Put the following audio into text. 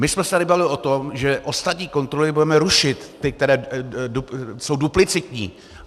My jsme se tady bavili o tom, že ostatní kontroly budeme rušit, ty, které jsou duplicitní.